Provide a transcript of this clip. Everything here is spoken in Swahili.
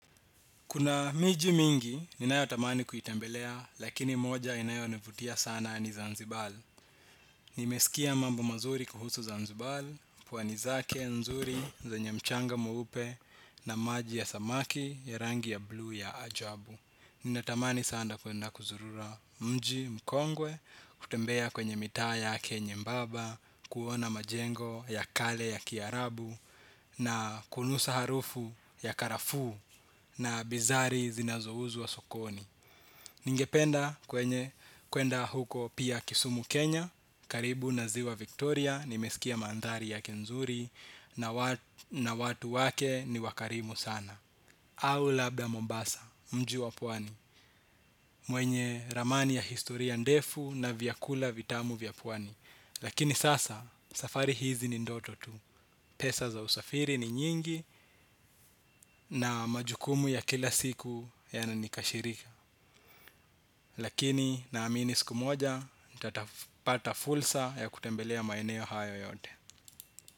Kuna miji mingi, ninayotamani kuitembelea, lakini moja inayonivutia sana ni Zanzibar. Nimesikia mambo mazuri kuhusu Zanzibar, pwani zake nzuri zenya mchanga mweupe na maji ya samaki ya rangi ya blu ya ajabu. Ninatamani sana kuenda kuzurura mji mkongwe, kutembea kwenye mitaa yake nyembaba, kuona majengo ya kale ya kiarabu na kunusa harufu ya karafuu. Na bizari zinazouzwa sokoni. Ningependa kwenye kwenda huko pia Kisumu Kenya. Karibu na ziwa Victoria nimesikia mandhari yake nzuri. Na watu wake ni wakarimu sana. Au labda Mombasa, mji wa pwani. Mwenye ramani ya historia ndefu na vyakula vitamu vya pwani lakini sasa, safari hizi ni ndoto tu. Pesa za usafiri ni nyingi. Na majukumu ya kila siku yananikashirika. Lakini naamini siku moja. Nitapata fursa ya kutembelea maeneo hayo yote.